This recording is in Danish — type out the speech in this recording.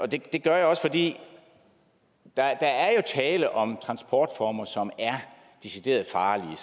det gør jeg også fordi der jo er tale om transportformer som er decideret farlige